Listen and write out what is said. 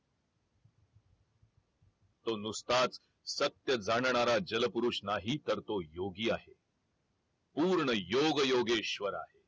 तो नुसताच सत्य जाणणारा जल पुरुष नाही तर तो योगी आहे पूर्ण योग योगेश्वर आहे